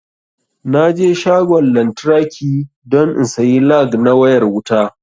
Naje shagon lantraki don in sayi lag na wayar wuta